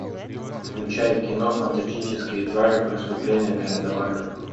включай кино фантастические твари преступления грин де вальда